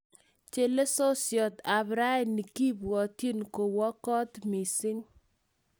Chelesosiet ap raini kipwotin kowo kot missing